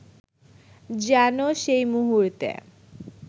যেন সেই মুহূর্তে